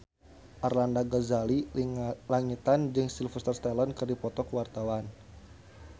Arlanda Ghazali Langitan jeung Sylvester Stallone keur dipoto ku wartawan